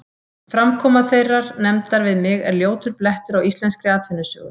Framkoma þeirrar nefndar við mig er ljótur blettur á íslenskri atvinnusögu.